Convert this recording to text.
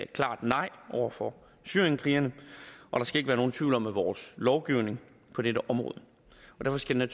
klart nej over for syrienskrigerne og der skal ikke være nogen tvivl om vores lovgivning på dette område derfor skal det